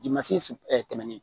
Dimansi tɛmɛnen